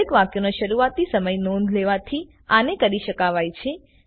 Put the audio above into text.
દરેક વાક્યનો શરૂઆતી સમય નોંધ લેવાથી આને કરી શકાવાય છે